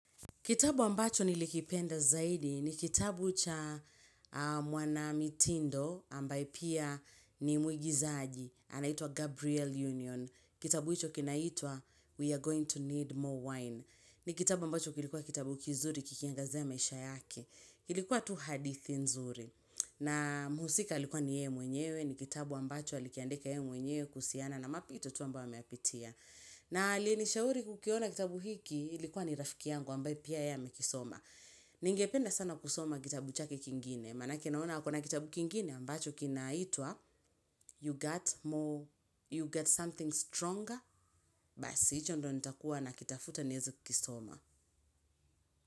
Kitabu ambacho nilikipenda zaidi ni kitabu cha mwana mitindo ambaye pia ni mwigizaji, anaitwa Gabriel Union. Kitabu hicho kinaitwa we are going to need more wine. Ni kitabu ambacho kilikuwa kitabu kizuri kikiangazia maisha yake. Kilikuwa tu hadithi nzuri. Na muhusika alikuwa ni ye mwenyewe, ni kitabu ambacho alikiandika ye mwenyewe kuhusiana na mapito tu ambayo ameyapitia. Na aliyenishauri kukiona kitabu hiki ilikuwa ni rafiki yangu ambaye pia ye amekisoma. Ningependa sana kusoma kitabu chake kingine. Maanake naona akona kitabu kingine ambacho kinaitwa You get something stronger. Basi, hicho ndo nitakuwa nakitafuta nieze kukisoma.